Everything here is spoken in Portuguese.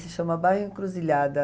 Se chama Bairro Encruzilhada.